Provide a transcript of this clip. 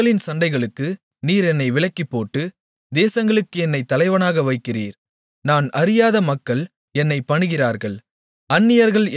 என்னுடைய மக்களின் சண்டைகளுக்கு நீர் என்னை விலக்கிவிட்டு தேசங்களுக்கு என்னைத் தலைவனாக வைக்கிறீர் நான் அறியாத மக்கள் என்னைப் பணிகிறார்கள்